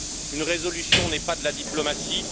Une résolution n'est pas de la diplomatie.